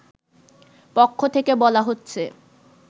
পক্ষ থেকে বলা হচ্ছে